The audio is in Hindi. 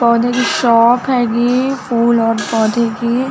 पौधे की शॉप हैगी फूल और पौधे की--